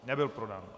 Nebyl podán.